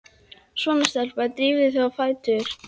Svona stelpa, drífðu þig á fætur.